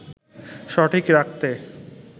সঠিক রাখতে